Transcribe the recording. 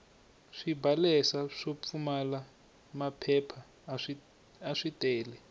swibalesa swo pfumala maphepha aswi tele